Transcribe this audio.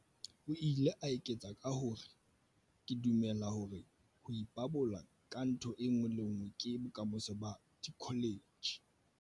O ile a eketsa ka hore, "Ke dumela hore ho ipabola ka ntho e le nngwe ke bokamoso ba dikholetjhe."